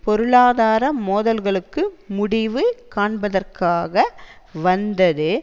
பொருளாதார மோதல்களுக்கு முடிவு காண்பதற்காக வந்தது